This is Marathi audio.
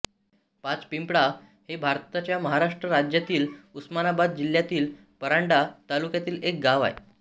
पाचपिंपळा हे भारताच्या महाराष्ट्र राज्यातील उस्मानाबाद जिल्ह्यातील परांडा तालुक्यातील एक गाव आहे